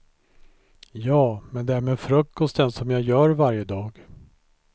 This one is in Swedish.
Ja, men det är med frukosten som jag gör varje dag.